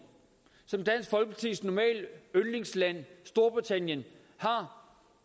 som dansk folkepartis normale yndlingsland storbritannien har